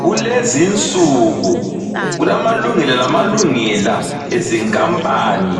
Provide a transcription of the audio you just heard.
Kulezinsuku kulamalungelo lamalungela ezinkampani